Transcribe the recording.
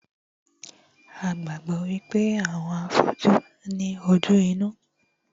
A gbàgbọ́ wípé àwọn afọ́jú ní ojú inú